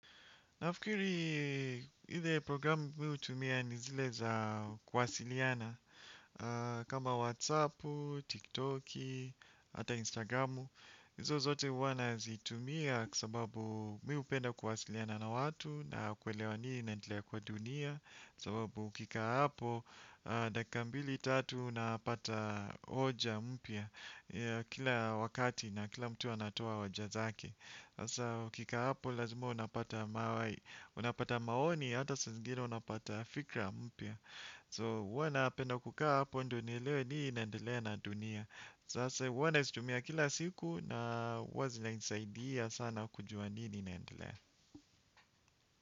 Nafikiri ile programu mi hutumia ni zile za kuwasiliana. Kama Whatsappu, TikToki, ata Instagramu Hizo zote huwa nazitumia kwa sababu mi hupenda kuwasiliana na watu. Na kuelewa nini inaendelea kwa dunia. Kwa sababu ukikaa hapo, dakika mbili tatu napata hoja mpya. Kila wakati na kila mtu anatoa hoja zake sasa ukikaa hapo lazima unapata mawai. Unapata maoni hata saa zingine unapata fikra mpya So huwa napenda kukaa hapo ndio nielewe nini inendelea na dunia sasa huwa nazitumia kila siku na huwa zinanisaidia sana kujua nini inaendelea.